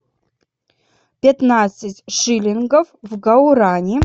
пятнадцать шиллингов в гуарани